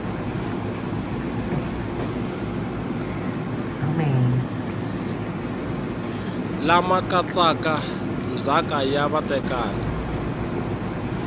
lama katsaka ndzhaka ya vatekani